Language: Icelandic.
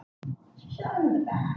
Efast um íslenska lögfræði